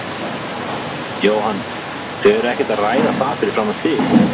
Jóhann: Þau eru ekkert að ræða það fyrir framan þig?